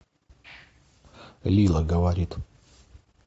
лила говорит